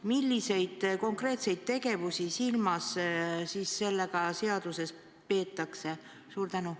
Milliseid konkreetseid tegevusi on seaduses silmas peetud?